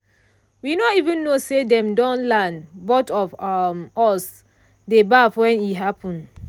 we no even know say dem don land both of um us dey baff when e happen.